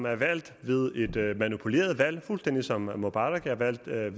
er valgt ved et manipuleret valg fuldstændig som mubarak er valgt ved